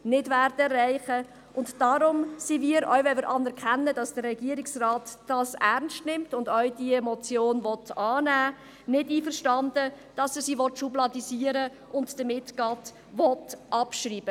Auch wenn wir anerkennen, dass der Regierungsrat das Anliegen ernst nimmt und diese Motion annehmen will, sind wir mit einer Schubladisierung nicht einverstanden, also mit seinem Vorschlag, die Motion gleichzeitig abzuschreiben.